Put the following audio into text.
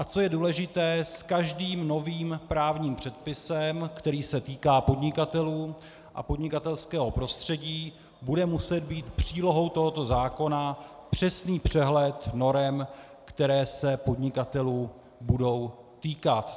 A co je důležité, s každým novým právním předpisem, který se týká podnikatelů a podnikatelského prostředí, bude muset být přílohou tohoto zákona přesný přehled norem, které se podnikatelů budou týkat.